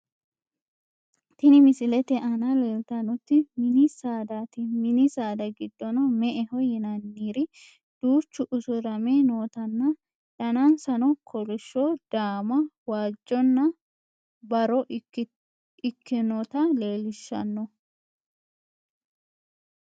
tini misilete aana leeltannoti mini saadaati mini saada giddono me"eho yinanniri duuchu usurame nootanna danansano kolishsho daama waajjonna barro ikkinota leellishshanno